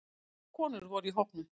Margar konur voru í hópnum